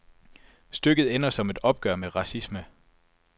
Stykket ender som et opgør med racisme.